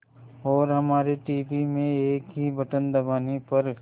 और हमारे टीवी में एक ही बटन दबाने पर